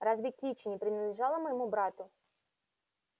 разве кичи не принадлежала моему брату